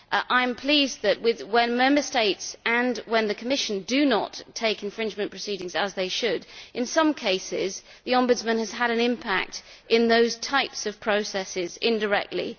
I am pleased that, when Member States and the Commission do not take infringement proceedings, as they should, in some cases the Ombudsman has had an impact in those types of processes indirectly.